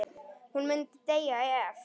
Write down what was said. Hún myndi deyja ef.?